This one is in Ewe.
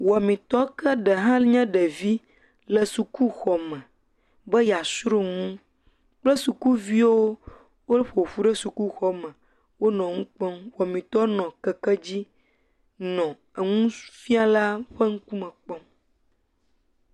Wɔmetɔ ke ɖe hã nye ɖevi le sukuxɔ me be yeasrɔ̃ nu kple sukuviwo woƒoƒu ɖe sukuxɔ me, wonɔ nu kpɔm. wɔmetɔ nɔ keke dzi nɔ enufiala ƒe ŋkume kpɔm.